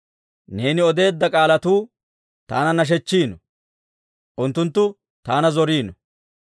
Neeni odeedda k'aalatuu taana nashechchiino; unttunttu taana zoriino.